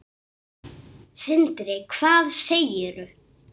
Sindri: Hvað segirðu?